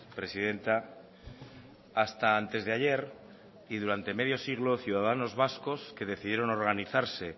presidenta hasta antes de ayer y durante medio siglo ciudadanos vascos que decidieron organizarse